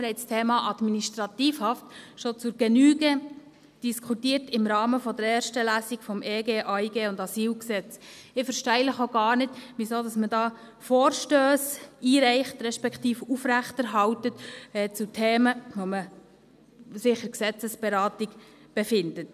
Wir haben das Thema Administrativhaft schon zur Genüge diskutiert im Rahmen der ersten Lesung des EG AIG und AsylG. Ich verstehe auch gar nicht, warum man da Vorstösse einreicht, respektive aufrechterhält zu Themen, die sich in der Gesetzesberatung befinden.